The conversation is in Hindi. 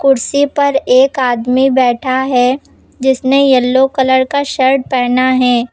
कुर्सी पर एक आदमी बैठा है जिसने येलो कलर का शर्ट पहना है।